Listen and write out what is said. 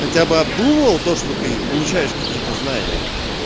хотя бы обдумывал то что ты получаешь какие-то знания